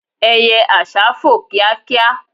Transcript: eye àsá fò kíákíá